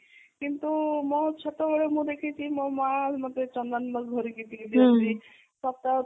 କିନ୍ତୁ ମୋ ଛୋଟ ବେଳେ ମୁଁ ଦେଖିଚି ମୋ ମା ମତେ ଚନ୍ଦନ ଘୋରିକି ଦିଅନ୍ତି ସପ୍ତାହ କୁ ଥରେ